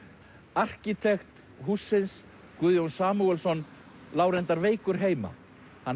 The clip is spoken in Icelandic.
arkitekt hússins Guðjón Samúelsson lá reyndar veikur heima hann